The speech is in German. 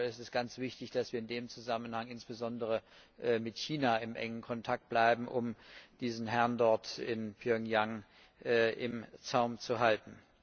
Ich glaube, es ist ganz wichtig, dass wir in dem Zusammenhang insbesondere mit China in engem Kontakt bleiben, um diesen Herrn dort in Pjöngjang im Zaum zu halten.